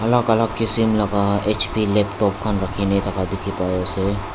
alak alak kisim laga hp laptop khan rakhi na thaka dikhi pai ase.